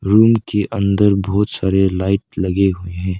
Room के अंदर बहुत सारे लाइट लगे हुए हैं।